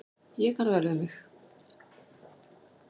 Ég kann vel við mig.